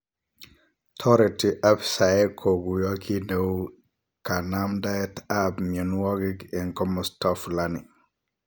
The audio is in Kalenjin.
Toreti afisaek koguyo Kit neu kanamdaet ap mionwogik en komosto fulani.